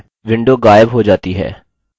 window गायब हो जाता है